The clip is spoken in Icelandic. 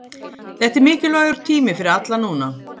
Þetta er mikilvægur tími fyrir alla núna.